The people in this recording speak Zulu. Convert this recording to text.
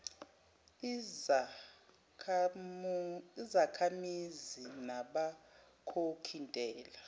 izakhamizi nabakhokhi ntela